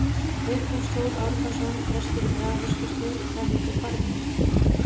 Vigfús Þór Árnason, prestur í Grafarvogskirkju: Hvað heitir barnið?